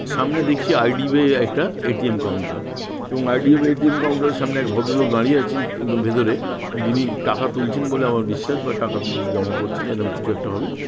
সামনে দেখি I D. B. I. একটা এ.টি.এম. কাউন্টার এবং I. D. B. I. Counter -এর সামনে এক ভদ্রলোক দাঁড়িয়ে আছেন ভে ভেতরে যিনি টাকা তুলছেন বলে আমার বিশ্বাস বা টাকা উম জমা করছেন এরকম কিছু একটা হবে ।